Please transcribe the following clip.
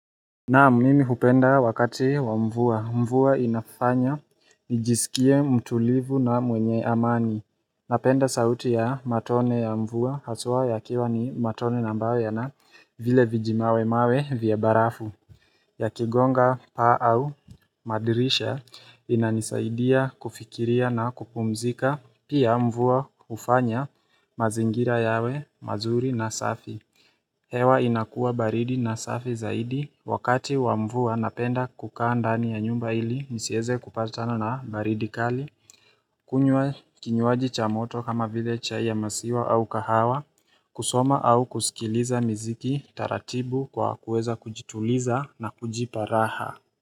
Naam, mimi hupenda wakati wa mvua. Mvua inafanya nijisikie mtulivu na mwenye amani. Napenda sauti ya matone ya mvua haswa yakiwa ni matone na ambayo yana vile vijimawe mawe vya barafu. Ya kigonga paa au madirisha, inanisaidia kufikiria na kupumzika, pia mvua hufanya mazingira yawe mazuri na safi. Hewa inakuwa baridi na safi zaidi wakati wa mvua napenda kukaa ndani ya nyumba ili nisieze kupatana na baridi kali. Kunywa kinywaji cha moto kama vile chai ya masiwa au kahawa, kusoma au kusikiliza miziki taratibu kwa kuweza kujituliza na kujipa raha.